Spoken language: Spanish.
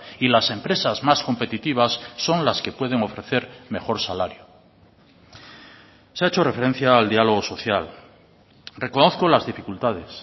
y las empresas más competitivas son las que pueden ofrecer mejor salario se ha hecho referencia al diálogo social reconozco las dificultades